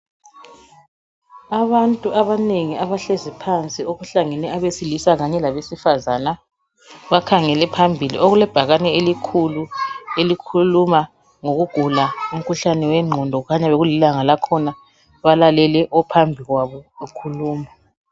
Abantu abanengi abahlezi phansi okuhlangene abesilisa labesifazana bakhangele phambili okulebhakane elikhulu elikhuluma ngokugula umkhuhlane wenqondo kukhanya bekulilanga lakhona balalalele ophambili kwabo ekhuluma